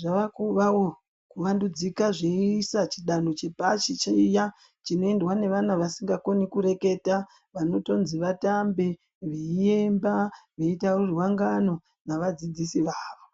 zvavakuvawo kuvandudzika zviisa zvidanho zvepashi chiya chinoendwa nevana vasingakoni kureketa vanotonzi vatambe veiemba veitaurirwa ngano navadzidzisi vavo.